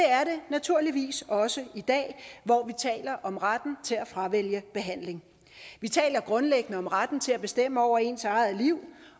naturligvis også i dag hvor vi taler om retten til at fravælge behandling vi taler grundlæggende om retten til at bestemme over ens eget liv